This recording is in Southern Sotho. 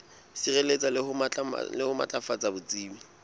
sireletsa le ho matlafatsa botsebi